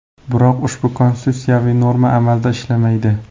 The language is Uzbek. Biroq ushbu Konstitutsiyaviy norma amalda ishlamaydi.